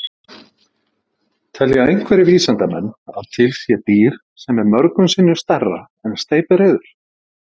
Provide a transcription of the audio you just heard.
Telja einhverjir vísindamenn að til sé dýr sem er mörgum sinnum stærra en steypireyður?